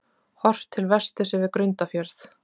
Horft til vesturs yfir Grundarfjörð.